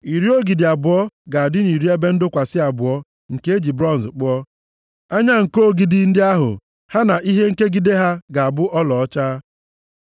Iri ogidi abụọ ga-adị na iri ebe ndọkwasị abụọ nke e ji bronz kpụọ. Anya nko ogidi ndị ahụ ha na ihe ikegide ha ga-abụ ọlaọcha.